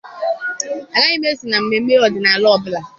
Agaghị m eso na mmemme ọdịnala ọ bụla.